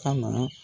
Ka na